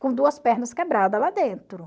Com duas pernas quebrada lá dentro.